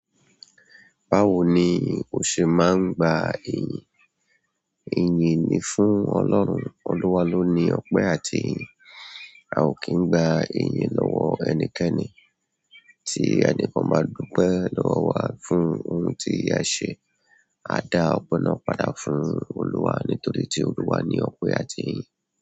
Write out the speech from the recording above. Báwo ni o ṣe máa ń gba ìyìn? Ìyin ni fún Ọlọ́run. Olúwa ló ní ọpẹ́ àti ìyìn. A ò kí ń gba ìyìn lọ́wọ́ ẹnikẹ́ni. Tí ẹni kan bá dúpẹ́ lọ́wọ́ wa fún ohun tí a ṣe, a dá ọpẹ náà padà fún Olúwa nítorí tí Olúwa ní ọpẹ́ àti ìyìn.